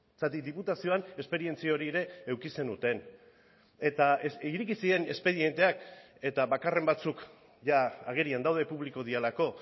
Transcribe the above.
zergatik diputazioan esperientzia hori ere eduki zenuten eta ireki ziren espedienteak eta bakarren batzuk jada agerian daude publiko direlako